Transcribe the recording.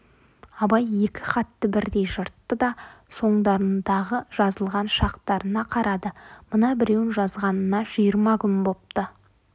абай екі хатты бірдей жыртты да соңдарындағы жазылған шақтарына қарады мына біреуін жазғанына жиырма күн бопты